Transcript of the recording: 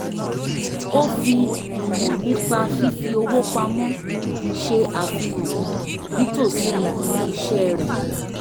ó fi ìmọ̀ nípa fífi owó pamọ́ ṣe àfihàn nítòsí ibi iṣẹ́ rẹ̀